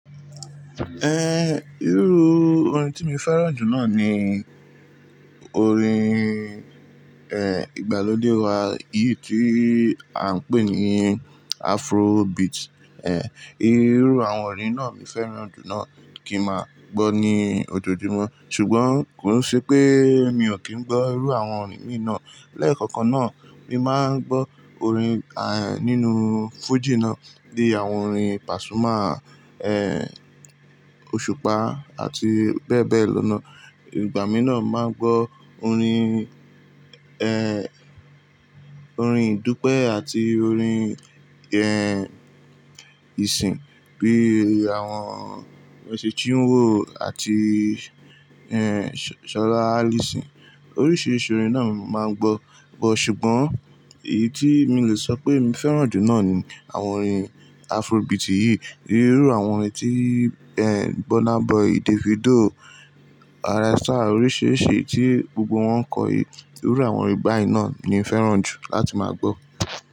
Eh, irú orin tí mi fẹ́ràn jù náà ni orin, eh, ìgbàlódé wa, èyí tí à ń pè ní Afrobeat, eh. Irú àwọn orin náà mo fẹ́ràn jù náà kí n máa gbọ́ ní ọjọ́ọjúmọ́. Ṣùgbọ́n kò nṣe pé mi ò kí ń gbọ́ irú àwọn orin míì náà. Lẹ́ẹ̀kọ̀kan náà mi máa ń gbọ́ orin, eh, nínú fújì náà, bíi àwọn orin Pasuma, eh, òṣùpá àti bẹ́ẹ̀ bẹ́ẹ̀ lọ náà. Ìgbà mí náà máa ń gbọ́ orin, eh, orin ìdúpẹ́ àti orin, eh, ìsìn, bí i àwọn Mercy Chinwo, àti, eh, Sola Alyson. Oríṣiìrisìì orin náà ni máa ń gbọ́. Ṣùgbọ́n èyí tí mi le sọ pé mi fẹ́ràn jù náà ni àwọn orin Afrobeat yìí. Irú àwọn orin tí, eh, Burna Boy, Davido, Rema, oríṣìíríṣìí tí gbogbo wọn ń kọ, irú àwọn orin báyìí náà ni mo fẹ́ràn jù láti máa gbọ́.